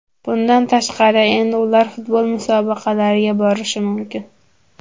Bundan tashqari, endi ular futbol musobaqalariga borishi mumkin.